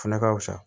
O fɛnɛ ka fisa